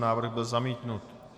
Návrh byl zamítnut.